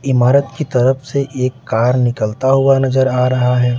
इमारत की तरफ से एक कार निकलता हुआ नजर आ रहा है।